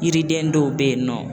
Yiriden dɔw bɛ yen nɔ